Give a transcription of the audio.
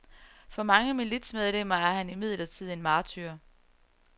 For mange militsmedlemmer er han imidlertid en martyr.